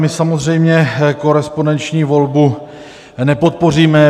My samozřejmě korespondenční volbu nepodpoříme.